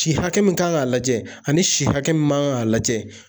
Si hakɛ min kan k'a lajɛ ani si hakɛ min kan k'a lajɛ